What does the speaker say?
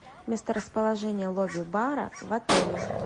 месторасположение лобби бара в отеле